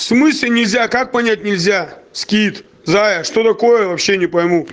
в смысле нельзя как понять нельзя скит зая что такое вообще не пойму